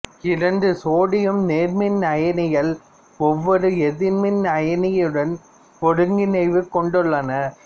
இரண்டு சோடியம் நேர்மின் அயனிகள் ஒவ்வொரு எதிர்மின் அயனியுடன் ஒருங்கிணைவு கொண்டுள்ளன